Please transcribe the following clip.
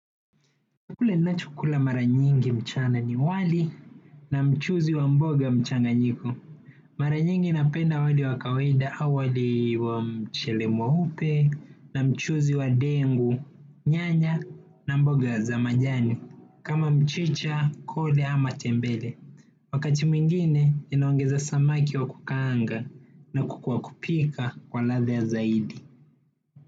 Kule ninachokula mara nyingi mchana ni wali na mchuzi wa mboga mchanganyiko. Mara nyingi napenda wali wa kawaida au wali wa mchele mweupe na mchuzi wa dengu, nyanya na mboga za majani. Kama mchicha, koda ama tembele. Wakati mwingine ninaongeza samaki wa kukaanga na kuku wakupika kwa ladha zaidi.